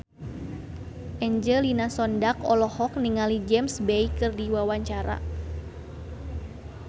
Angelina Sondakh olohok ningali James Bay keur diwawancara